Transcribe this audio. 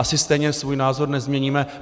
Asi stejně svůj názor nezměníme.